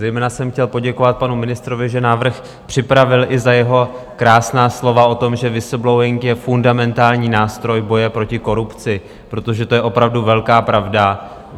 Zejména jsem chtěl poděkovat panu ministrovi, že návrh připravil, i za jeho krásná slova o tom, že whistleblowing je fundamentální nástroj boje proti korupci, protože to je opravdu velká pravda.